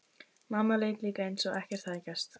Mamma lét líka eins og ekkert hefði gerst.